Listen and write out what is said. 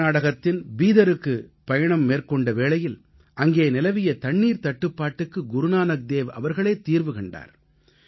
கர்நாடகத்தின் பீதருக்கு பயணம் மேற்கொண்ட வேளையில் அங்கே நிலவிய தண்ணீர்த்தட்டுப்பாட்டுக்கு குருநானக்தேவ் அவர்களே தீர்வு கண்டார்